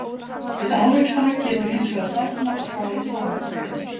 Við árekstra getur hins vegar stefna og hraði sameinda breyst.